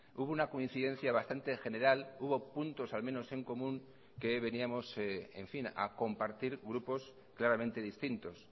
hubo una coincidencia bastante general hubo puntos al menos en común que veníamos en fin a compartir grupos claramente distintos